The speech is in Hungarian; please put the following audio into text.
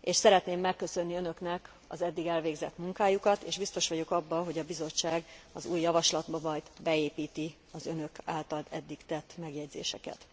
és szeretném megköszönni önöknek az eddig elvégzett munkájukat, és biztos vagyok abban, hogy a Bizottság az új javaslatba majd beépíti az önök által eddig tett megjegyzéseket.